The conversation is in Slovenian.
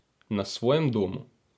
Na svojem domu.